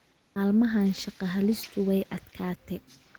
Maalmahan shaqo helistu way adkatee.